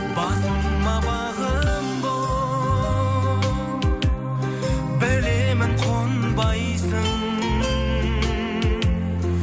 басыма бағым болып білемін қонбайсың